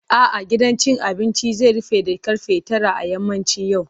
A'a, gidan cin abinci zai rufe da ƙarfe tara a yammacin yau.